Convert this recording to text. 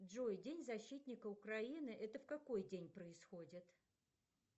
джой день защитника украины это в какой день происходит